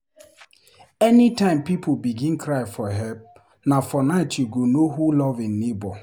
Anytime pipo begin cry for help, na for night you go know who love im neighbour.